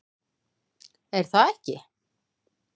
Er það ekki?